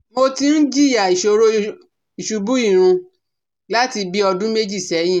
Mo ti ń jìyà ìṣòro ìṣubú irun láti bí ọdún méjì sẹ́yìn